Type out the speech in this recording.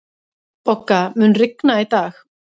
Bogga, mun rigna í dag?